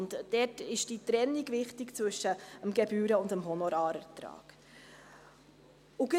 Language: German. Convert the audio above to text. Und dort ist die Trennung zwischen dem Gebühren- und dem Honorarertrag wichtig.